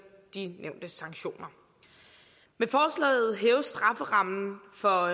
de nævnte sanktioner med forslaget hæves strafferammen for